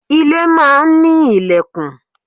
Ilé máa ń ní lẹ̀kùn.